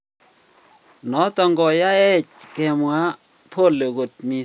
Noton koyoech kemwa pole kot missing en werinyon en tekis ne mi parak.